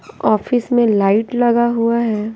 Office में light लगा हुआ है।